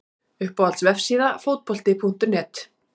Uppáhalds vefsíða? Fótbolti.net